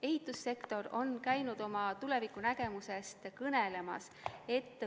Ehitussektor on käinud oma tulevikunägemusest kõnelemas.